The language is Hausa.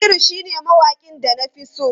Naziru shine mawaƙin da na fi so.